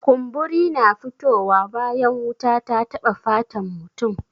Kumburi na fito wa bayan wuta ta taba fatan mutum.